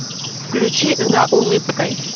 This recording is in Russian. включи за улыбкой